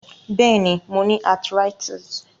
Béèni, mo ni arthritis